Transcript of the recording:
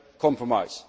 compromise.